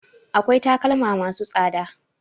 Akwai takalma ma su tsada